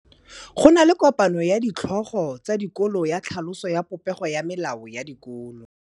Go na le kopanô ya ditlhogo tsa dikolo ya tlhaloso ya popêgô ya melao ya dikolo.